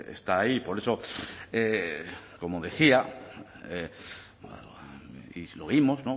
está ahí y por eso como decía y se lo oímos